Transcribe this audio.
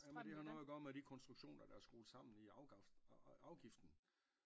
Jamen det har noget at gøre med de konstruktioner der er skruet sammen i afgiften